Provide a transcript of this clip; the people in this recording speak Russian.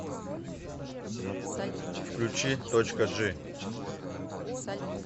включи точка джи